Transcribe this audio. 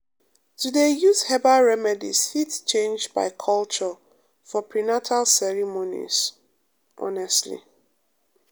to dey use herbal remedies fit change by culture for prenatal ceremonies um honestly